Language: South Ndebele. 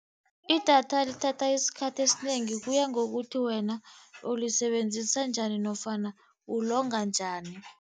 Idata lithatha isikhathi esinengi kuyangokuthi wena ulisebenzisa njani nofana ulonga njani.